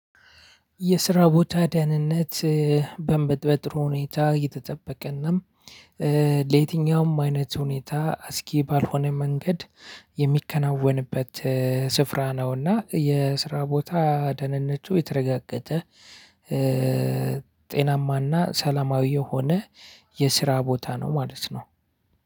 የስራ ቦታ ዳህነነት በእንበጥ በጥሩ ሁኔታ እየተጠበቀና ለየትኛውም አይነት ሁኔታ አስጊ ባልሆነ መንገድ የሚከናወንበት ስፋራ ነውና የስራ ቦታ ደህንነቱ የተረጋገጠ። ጤናማና ሰላማዊ የሆነ የስራ ቦታ ነው ማለት ነው።